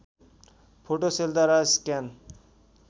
photo सेलद्वारा scan